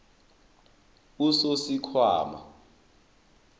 usosikhwama